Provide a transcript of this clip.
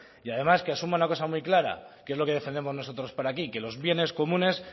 y además que asuma una cosa muy clara que es lo que defendemos nosotros por aquí que los bienes comunes